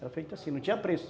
Era feito assim, não tinha preço.